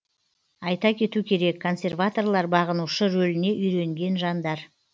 айта кету керек консерваторлар бағынушы рөліне үйренген жандар